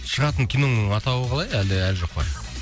шығатын киноңның атауы қалай әлі әлі жоқ па